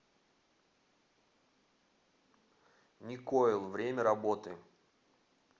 никойл время работы